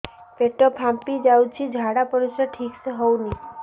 ପେଟ ଫାମ୍ପି ଯାଉଛି ଝାଡ଼ା ପରିସ୍ରା ଠିକ ସେ ହଉନି